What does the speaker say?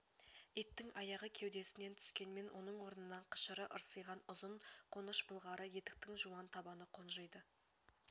иттің аяғы кеудесінен түскенмен оның орнына қышыры ырсиған ұзын қоныш былғары етіктің жуан табаны қонжиды